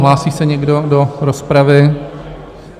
Hlásí se někdo do rozpravy?